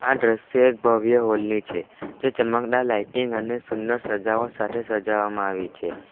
આ દ્રશ્ય એક ભવ્ય હોલ ની છે જે ચમકદાર લાઇટિંગ અને સુંદર સજાવટ સાથે સજાવામાં આવે છે.